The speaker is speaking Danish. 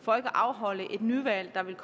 for ikke at afholde et nyvalg der vil